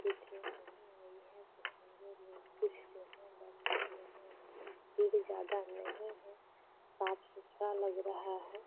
अभी ट्रेन नहीं आई है। पैसेंजर लोग कुछ जो हैं बैठे हुए हैं। यहाँ पे भीड़ ज्यादा नही है। साफ़ सुथरा लग रहा है।